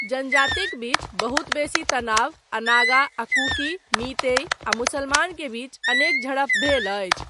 जनजातिक बीच बहुत बेसी तनाव आ नागा आ कुकी, मीतेई आ मुसलमान के बीच अनेक झड़प भेल अछि।